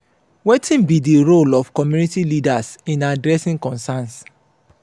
wetin be di role of community leaders in adressing concerns?